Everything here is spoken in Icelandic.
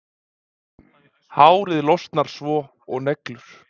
Hárið losnar svo og neglur.